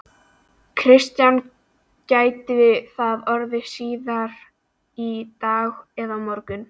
Kristján: Gæti það orðið síðar í dag eða á morgun?